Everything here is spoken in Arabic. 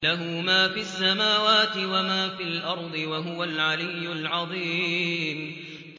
لَهُ مَا فِي السَّمَاوَاتِ وَمَا فِي الْأَرْضِ ۖ وَهُوَ الْعَلِيُّ الْعَظِيمُ